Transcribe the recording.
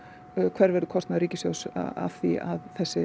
hver verður kostnaður ríkissjóðs af því að þessi